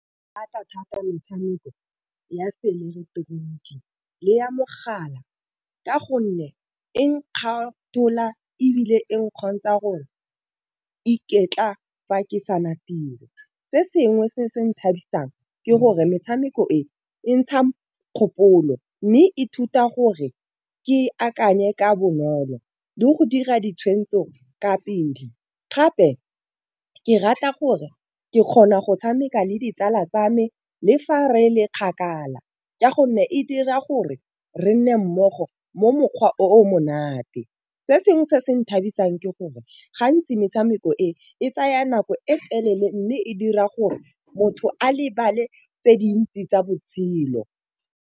Ke rata thata metshameko ya se ileketoroniki le ya mogala, ka gonne e nkgatelela ebile e nkgopotsa gore iketla fa ke sena tiro. Se sengwe se se nthabisa jang ke gore metshameko e e ntsha kgopolo, mme ithuta gore ke akanye ka bonolo le go dira ditshweetso ka pele. Gape ke rata gore ke kgona go tshameka le ditsala tsa me le fa re le kgakala, ka gonne e dira gore re nne mmogo mo mokgwa o o monate. Se sengwe se se nthabisa eng ke gore gantsi metshameko e e tsaya nako e telele, mme e dira gore motho a lebale tse dintsi tsa botshelo.